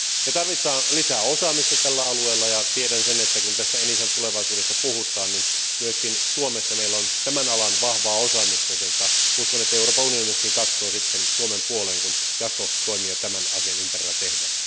Me tarvitsemme lisää osaamista tällä alueella, ja tiedän sen, että kun tästä ENISAn tulevaisuudesta puhutaan, niin myös Suomessa meillä on tämän alan vahvaa osaamista, joten uskon, että myös Euroopan unioni katsoo sitten Suomen puoleen, kun jatkotoimia tämän asian ympärillä tehdään.